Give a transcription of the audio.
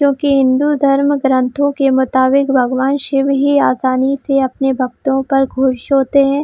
क्यूंकी हिन्दू धर्म ग्रंथों के मुताबिक भगवान शिव ही आसानी से अपने भक्तों पर खुश होते है।